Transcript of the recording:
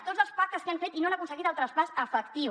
tots els pactes que han fet i no n’han aconseguit el traspàs efectiu